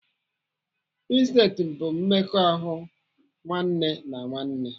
Insesti bụ mmekọ ahụ nwanne na nwanne